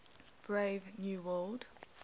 brave new world